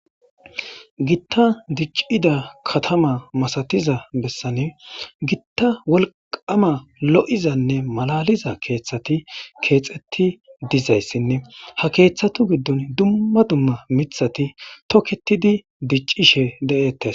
gitta diccida katama masatiza bessane gitta wolqama lo7izanne malaliza keeththati keexeti dizayssinne ha keeththatu giddon dumma dumma mithati toketidi diccishe de7eettes